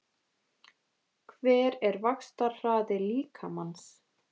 Hver er vaxtarhraði líkamans?